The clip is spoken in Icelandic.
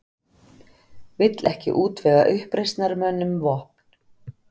Vill ekki útvega uppreisnarmönnum vopn